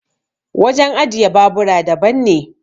wajen ajiye babura daban ne